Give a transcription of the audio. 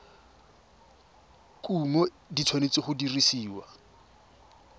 kumo di tshwanetse go dirisiwa